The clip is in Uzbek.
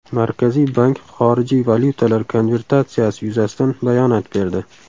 Markaziy Bank xorijiy valyutalar konvertatsiyasi yuzasidan bayonot berdi.